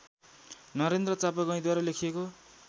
नरेन्द्र चापागाईँद्वारा लेखिएको